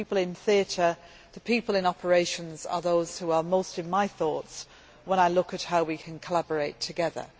The people in theatre, the people in operations, are those who are most in my thoughts when I look at how we can collaborate together.